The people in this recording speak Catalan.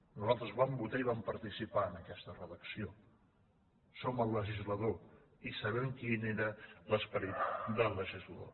nosaltres vam votar i vam participar en aquesta redacció som el legislador i sabem quin era l’esperit del legislador